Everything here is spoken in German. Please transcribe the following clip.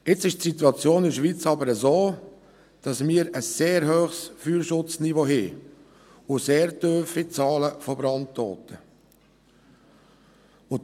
Jetzt ist die Situation in der Schweiz jedoch so, dass wir ein sehr hohes Feuerschutzniveau und sehr tiefe Zahlen bei den Brandtoten haben.